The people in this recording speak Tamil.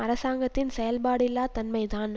அரசாங்கத்தின் செயல்பாடில்லாத தன்மைதான்